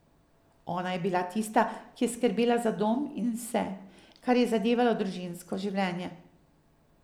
Ona je bila tista, ki je skrbela za dom in vse, kar je zadevalo družinsko življenje.